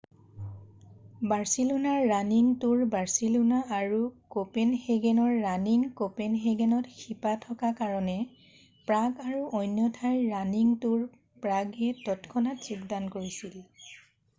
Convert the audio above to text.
বাৰছিলোনাৰ running tour Barcelona আৰু কঁপেনহেগেনৰ running কঁপেনহেগেনত শিপা থকা কাৰণে প্ৰাগ আৰু অন্য ঠাইৰ ৰানিং তুৰ প্ৰাগয়ে তৎক্ষণাত যোগদান কৰিছিল